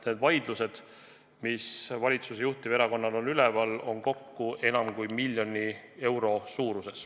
Need vaidlused, mis valitsuse juhtiverakonnal üleval on, hõlmavad ju kokku enam kui 1 miljonit eurot.